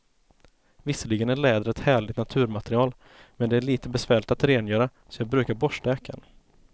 Visserligen är läder ett härligt naturmaterial, men det är lite besvärligt att rengöra, så jag brukar borsta jackan.